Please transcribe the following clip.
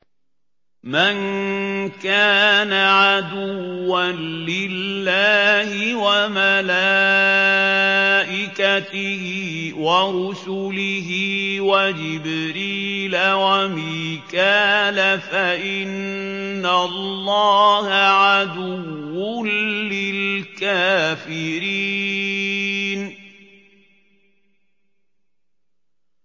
مَن كَانَ عَدُوًّا لِّلَّهِ وَمَلَائِكَتِهِ وَرُسُلِهِ وَجِبْرِيلَ وَمِيكَالَ فَإِنَّ اللَّهَ عَدُوٌّ لِّلْكَافِرِينَ